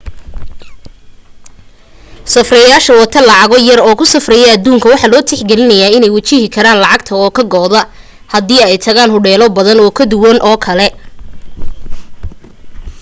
safrayaasha wata lacago yar oo ku safraya aduunka waxa loo tix geliyaa iney wajihi karaan lacagta oo ka go'da haddii ay tagaan hodheelo badan oo kuwan oo kale ah